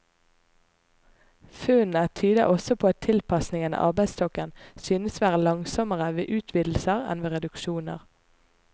Funnene tyder også på at tilpasningen av arbeidsstokken synes å være langsommere ved utvidelser enn ved reduksjoner.